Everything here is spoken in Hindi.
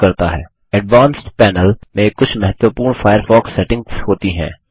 एडवांस्ड Panelएडवांस्ड पैनलमें कुछ महत्वपूर्ण फायरफॉक्स सेटिंग्स होती हैं